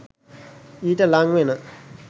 ඊට ලංවෙන